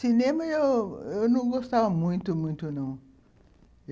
Cinema eu não eu não gostava muito, muito não.